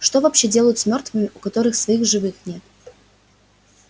что вообще делают с мёртвыми у которых своих живых нет